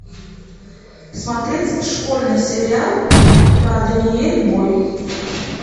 смотреть школьный сериал про даниэль бой